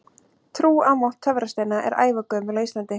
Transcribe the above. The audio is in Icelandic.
Trú á mátt töfrasteina er ævagömul á Íslandi.